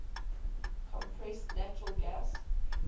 compressed natural gas